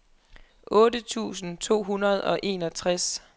otte tusind to hundrede og enogtres